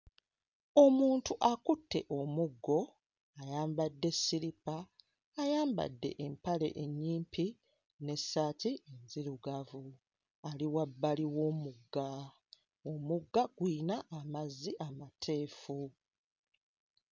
Omuntu akutte omuggo ayambadde ssiripa ayambadde empale ennyimpi n'essaati nzirugavu ali wabbali w'omugga omugga guyina amazzi amateefu.